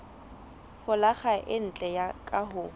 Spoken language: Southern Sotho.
folaga e ntle ka ho